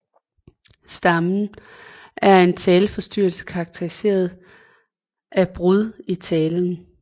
Stammen er en taleforstyrrelse karakteriseret af brud i talen